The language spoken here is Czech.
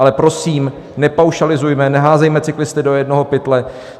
Ale prosím, nepaušalizujme, neházejme cyklisty do jednoho pytle!